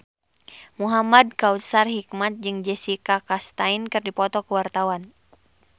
Muhamad Kautsar Hikmat jeung Jessica Chastain keur dipoto ku wartawan